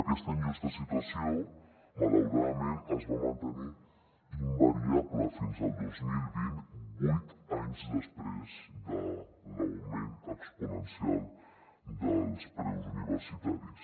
aquesta injusta situació malauradament es va mantenir invariable fins al dos mil vint vuit anys després de l’augment exponencial dels preus universitaris